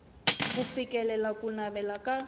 ku fikelela ku navela ka